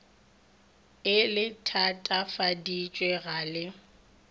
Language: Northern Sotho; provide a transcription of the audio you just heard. e le thatafaditše ga le